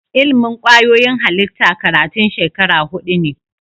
Ilimin kwayoyin halitta karatun shekara hudu ne